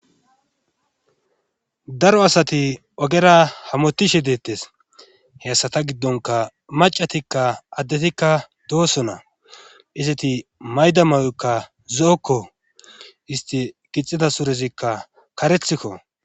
daro asati ogera hamotishe deettes hessa ta giddonka macatikka addetikka dooso na iseti mayda mawekka zo7okko isti gixida surezikka karethikko